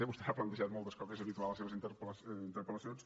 vostè n’ha plantejades moltes com és habitual en les seves interpel·lacions